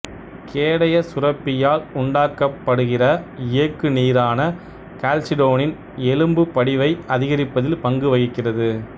கேடயசசுரப்பியால் உண்டாக்கப்படுகிற இயக்குநீரான கால்சிடோனின் எலும்புப்படிவை அதிகரிப்பதில் பங்கு வகிக்கிறது